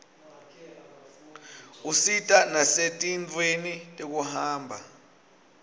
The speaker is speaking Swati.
usita nasetintfweni tekuhamba